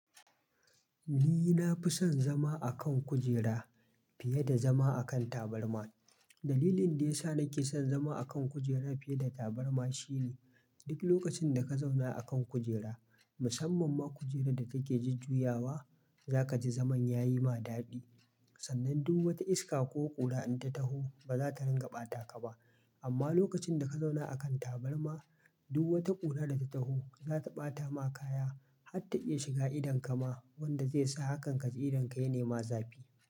Ni na fi son zama a kan kujera fiye da zama a kan tabarma. Dalilin da ya sa nake son zama a kan kujera fiye da tabarma shine duk lokacin da ka zauna a kan kujera, musamman ma kujerar da take jujjuyawa, za ka ji zaman yayi ma daɗi. Sannan duk wata iska ko ƙura in ta taho ba za ta ringa bata ka ba. Amma lokacin da ka zauna a kan tabarma, duk wata ƙura da ta taho za ta ɓata ma kaya har ta iya shiga idonka ma wanda zai sa hakan ka ji idonka ya nema zafi.